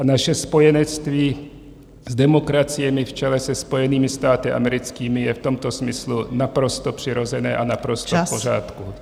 A naše spojenectví s demokraciemi v čele se Spojenými státy americkými je v tomto smyslu naprosto přirozené a naprosto v pořádku.